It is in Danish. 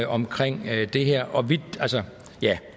omkring det her